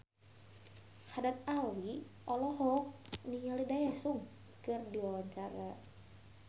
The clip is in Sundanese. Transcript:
Haddad Alwi olohok ningali Daesung keur diwawancara